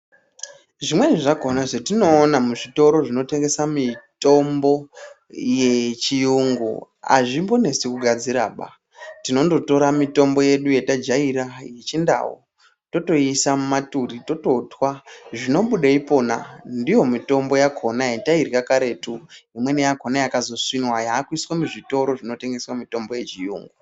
Zvimweni zvakhona zvetinoona muzvitoro zvinotengesa mitombo yechiyungu azvimbonesi kugadziraba. Tinondotora mitombo yedu yetajaira yechindau, totoiisa mumaturi tototwa. Zvinobude ipona ndiyo mitombo yakhona yetairya karetu, imweni yakhona yakazosvinwa yaakuiswa muzvitoro zvinotengesa mitombo yechiyungu.